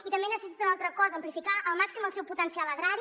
i també necessita una altra cosa amplificar al màxim el seu potencial agrari